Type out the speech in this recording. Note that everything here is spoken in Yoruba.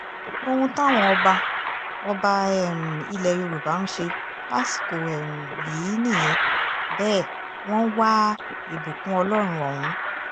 ohun táwọn ọba ọba um ilẹ̀ yorùbá ń ṣe lásìkò um yìí nìyẹn bẹ́ẹ̀ wọ́n ń wá ìbùkún ọlọ́run ọ̀hún